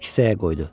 Kisəyə qoydu.